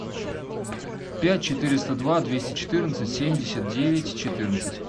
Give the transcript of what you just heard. пять четыреста два двести четырнадцать семьдесят девять четырнадцать